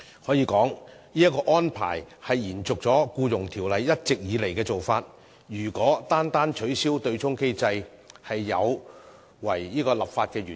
可以說，這個安排是延續了《僱傭條例》一直以來的做法，如果取消對沖機制便有違立法原意。